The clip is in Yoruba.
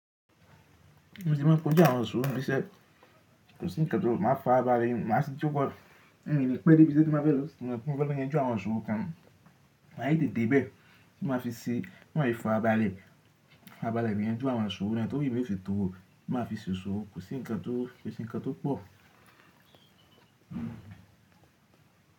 Mo tí máa ń kojú àwọn isòrò nibi íṣẹ́, kò sí ǹkan tó máa fàra bale ni, màá sí jo. Mii kii pẹ́ dé bi ise tí mo bá fẹ́ lọ, ti mo fẹ́ lọ yan ú àwọn isoro kan, maa tete de bẹ́ẹ̀ ti máa fi ṣe, ti maa se fara balẹ́, farabale yan jú àwọn iṣòrò náà, tó wí pé ò fìtọ́ o, máa fi ṣe iṣòrò, kò sí ǹkan tó, kò sí ǹkan tó pọ̀.